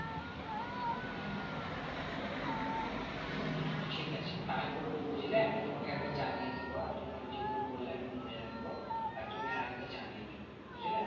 ঠিক আছে তাই করবো বুঝলে আমি তোমাকে একবার জানিয়ে দেব আর তোমার যেগুলো বললে আমি মনে রাখবো আর তুমি আরেকবার জানিয়ে দেবে বুঝলে?